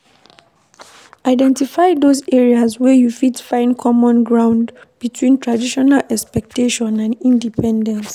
Identify those areas wey you fit find common ground between traditional expectation and independence